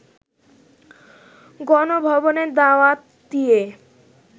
গণভবনে দাওয়াত দিয়ে